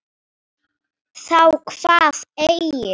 Þá kvað Egill